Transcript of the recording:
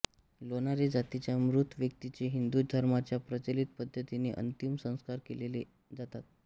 लोणारे जातीच्या मृत व्यक्तीचे हिंदू धर्माच्या प्रचलित पद्धतीने अंतिम संस्कार केले जातात